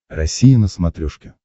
россия на смотрешке